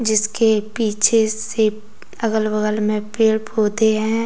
जिसके पीछे से अगल बगल में पेड़ पौधे हैं।